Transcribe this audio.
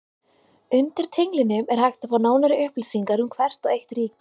Undir tenglinum er hægt að fá nánari upplýsingar um hvert og eitt ríki.